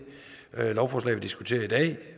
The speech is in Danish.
lovforslag vi diskuterer i dag